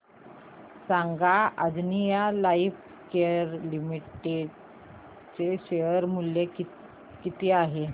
सांगा Anjaneya Lifecare Limited चे share मूल्य किती आहे